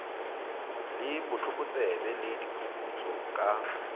le botlokotsebe le diphuputso ka